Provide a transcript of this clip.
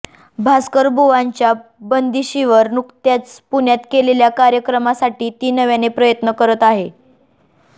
भास्करबुवांच्या बंदिशींवर नुकत्याच पुण्यात केलेल्या कार्यक्रमासाठी ती नव्याने प्रयत्न करते आहे